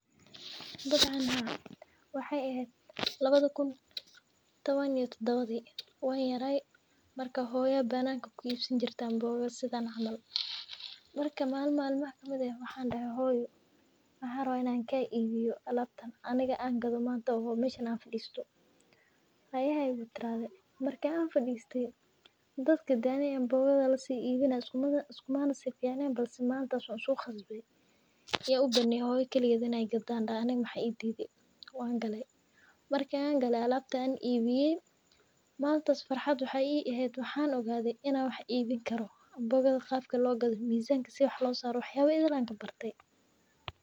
Dabcan haaa waxee ehed lawadha kun iyo lawatanki wan yaray marka hooyo aya anboga ku ibsaneyse bananka aniga aya dahe hooyo ken aniga aya kuibinaya malinka wan uso qasde in hooyo kaliged gado aniga maxaa ididhi wan gale marki an gale alabta an ibiye malintas farxad maxee I ahate farxad in aa wax ibin karo anbogada qabka logadho mizanka si wax losaro wax yaba badan ayan ka barte.